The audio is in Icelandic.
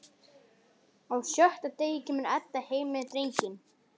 Á sjötta degi kemur Edda heim með drenginn.